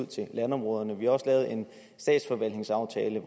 til landområderne vi har også lavet en statsforvaltningsaftale